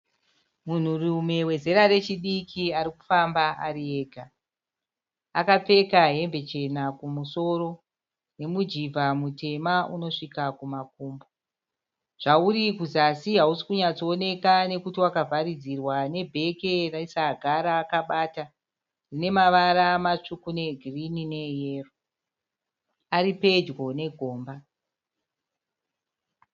Munhurume wezera rechidiki ari kufamba ari ega. Akapfeka hembe chena kumusoro nomujivha mutema unosvika kumakumbo. Zvauri kuzasi hausi kunyatsooneka nekuti wakavharidzirwa nebheke nesaga raakabata rine mavara matsvuku, neegirini neeyero. Ari pedyo negomba.